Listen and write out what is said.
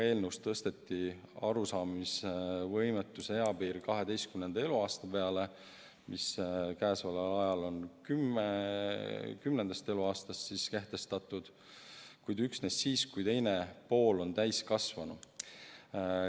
Eelnõus tõsteti arusaamise võimetuse eapiir 12. eluaasta peale, praegu on see 10 eluaastat, kuid üksnes siis, kui teine pool on täiskasvanu.